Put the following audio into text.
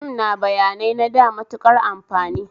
Fim na bayanai na da matuƙar amfani